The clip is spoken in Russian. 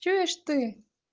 чуешь ты